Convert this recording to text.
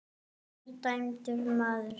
Ég er dæmdur maður.